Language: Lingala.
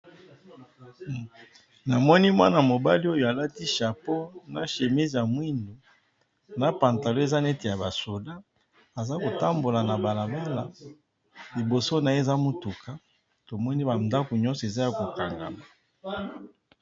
Namoni mwana mobali oyo alati chapeau chemise ya mwindu na pantalon ya ba soldat aza kotambola na balabala liboso naye koza mutuka tomoni ba ndako nyonso eza ya kokangama